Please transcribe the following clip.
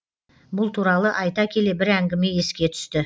бұл туралы айта келе бір әңгіме еске түсті